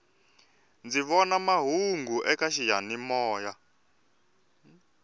ndzi vona mahungu eka xiyani moya